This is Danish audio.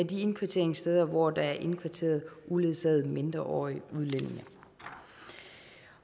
de indkvarteringssteder hvor der er indkvarteret uledsagede mindreårige udlændinge